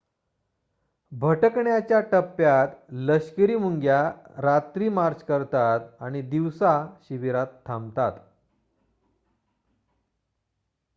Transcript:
भटकण्याच्या टप्प्यात लष्करी मुंग्या रात्री मार्च करतात आणि दिवसा शिबिरात थांबतात